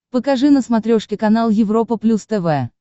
покажи на смотрешке канал европа плюс тв